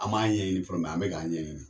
An ma ɲɛɲini fɔrɔ , an be ka ɲɛɲini.